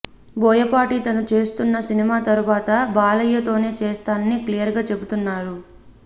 బోయపాటి తను చేస్తున్న సినిమా తరువాత బాలయ్యతోనే చేస్తానని క్లియర్ గా చెబుతున్నారు